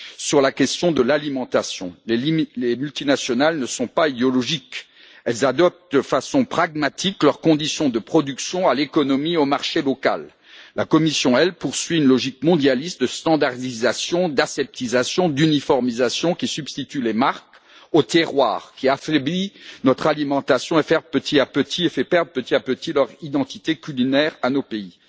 sur la question de l'alimentation. Les multinationales ne sont pas idéologiques, elles adaptent de façon pragmatique leurs conditions de production à l'économie et au marché local. La Commission poursuit une logique mondialiste de normalisation, d'aseptisation, d'uniformisation qui substitue les marques au terroir, qui affaiblit notre alimentation et fait perdre petit à petit leur identité culinaire à nos pays.